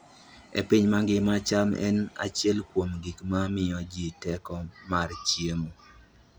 E piny mangima, cham en achiel kuom gik ma miyo ji teko mar chiemo.